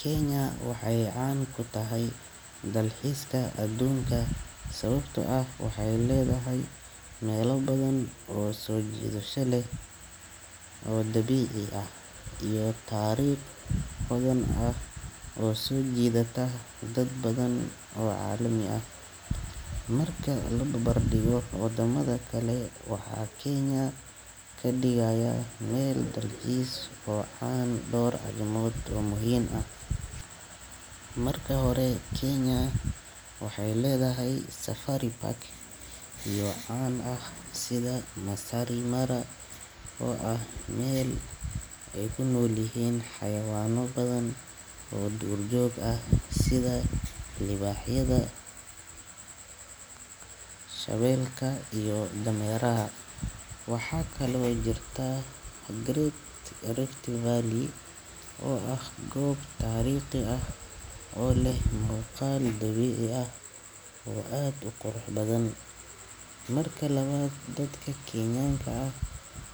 Kenya waxay caan kutahay dalxiska aduunka sababto ah waxay ledahay mela badan o sojidasha leh o dabiici ah iyo tarikh badan aah o sojidata dad badan o caalami aah marka labarbardigo wadamada kale waxa Kenya kadigaya meel dalxis o caan dhwor arimood muhin ah marka hore Kenya waxey ledahay safari back o caan sida Massai Mara o ah meel ay kunolyahin xayawaano badan o duur jog ah sida Libaxyada, Shabeelka iyo Dameeraha. Waxa kalo jirta Great Rift Valley o ah goob tarikhi ah o leeh muqal dabici aah o ad u quruxbadan. Marka labad dadka Kenyanka aah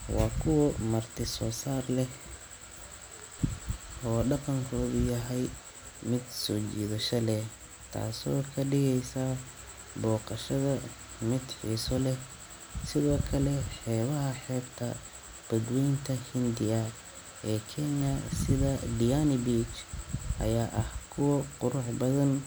wa kuwa marti so saar leh o daqankoda yahay mid sojidasha leeh taas o kadigeysa boqashada mid xiiso leh sido kale xeebaha xebta badweynta Hindia e Kenya sida Diyani Beach aya ah kuwa qurux badan.